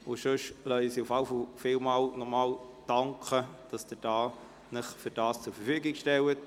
Im Übrigen lässt sie nochmals vielmal danken, dass Sie sich dafür zur Verfügung stellen.